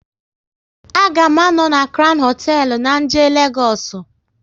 A ga m à nọ na Crown hoteelu na jee Legoosu